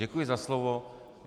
Děkuji za slovo.